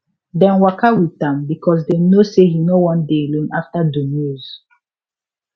dem waka with am because dem know say he no wan dey alone after do news